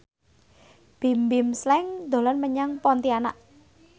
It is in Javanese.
Bimbim Slank dolan menyang Pontianak